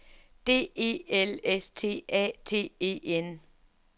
D E L S T A T E N